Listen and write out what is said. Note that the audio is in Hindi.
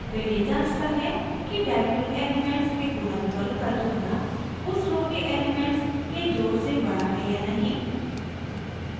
फिर यह जाँचता है कि डाइएगनल एलिमेंट्स के गुणनफल का दुगुना उस रो के एलिमेंट्स के जोड़ से बड़ा है या नहीं